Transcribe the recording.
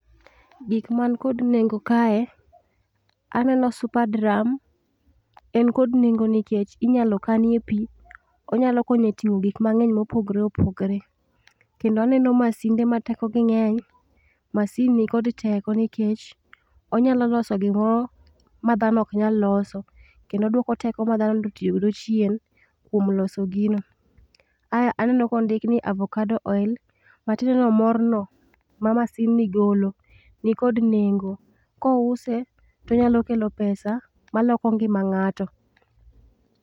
Gik man kod nengo kae, aneno superdrum. En kod nengo nkech inyalo kanie pii, onyalo konyo e ting'o gik mang'eny mopogre opogre. Kendo aneno masinde ma tekogi ng'eny. Masin ni kod teko nikech, onyalo loso gimoro ma dhano oknyal loso, kendo odwoko teko ma dhano do tio godo chien kwom loso gino. Ae aneno kondik ni avocado oil. Matiende ni mor no, ma masin ni golo, ni kod nengo. Kouse to nyalo kelo pesa maloko ngima ng'ato.